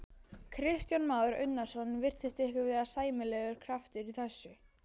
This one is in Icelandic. Kristján Már Unnarsson: Virtist ykkur vera sæmilegur kraftur í þessu?